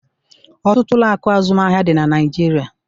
Ọtụtụ ụlọ akụ azụmahịa dị na Naịjirịa.